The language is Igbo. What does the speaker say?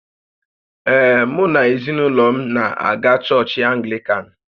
Ee, mụ na ezinaụlọ m na-aga chọọchị Anglịkan